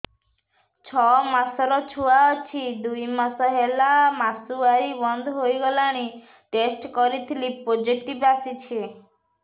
ଛଅ ମାସର ଛୁଆ ଅଛି ଦୁଇ ମାସ ହେଲା ମାସୁଆରି ବନ୍ଦ ହେଇଗଲାଣି ଟେଷ୍ଟ କରିଥିଲି ପୋଜିଟିଭ ଆସିଛି